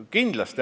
Kindlasti.